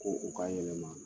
Ko u k'a yɛlɛma